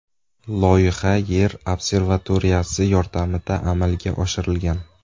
Loyiha Yer observatoriyasi yordamida amalga oshirilgan.